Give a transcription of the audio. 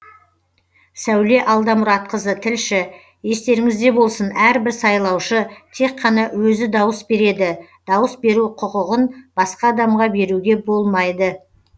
сәуле алдамұратқызы тілші естеріңізде болсын әрбір сайлаушы тек қана өзі дауыс береді дауыс беру құқығын басқа адамға беруге болмайды